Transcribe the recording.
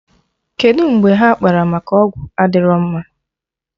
Kedụ mgbe ha kpara maka ọgwụ adịrọ mma?